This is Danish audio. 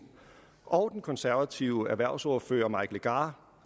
og den konservative erhvervsordfører herre mike legarth